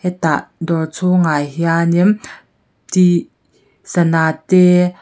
hetah dawr chhungah hianin t sana te.